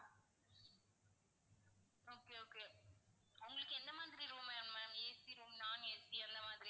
okay okay உங்களுக்கு எந்த மாதிரி room வேணும் ma'am AC room non AC எந்த மாதிரி?